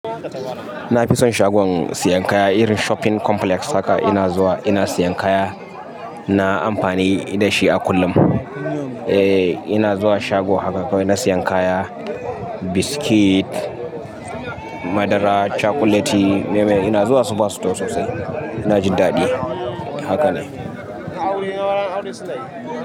Na fi son shagon sayan kaya irin shopping complex haka ina zuwa ina sayan kaya. Na amfani da shi a kullum. Eh ina zuwa shago haka na sayan kaya, biskit, madara, cakuleti, me me ina zuwa super store sosai. Na ji daɗi haka ne.